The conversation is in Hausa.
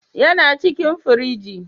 Yana cikin firigi.